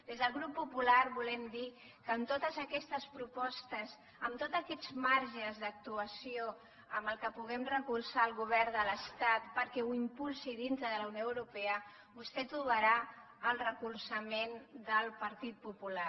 des del grup popular volem dir que amb totes aquestes propostes amb tots aquests marges d’actuació en què puguem donar suport al govern de l’estat perquè ho impulsi dintre de la unió europea vostè trobarà el suport del partit popular